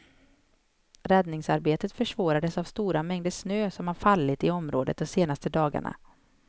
Räddningsarbetet försvårades av stora mängder snö som har fallit i området de senaste dagarna.